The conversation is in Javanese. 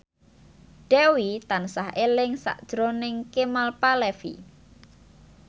Dewi tansah eling sakjroning Kemal Palevi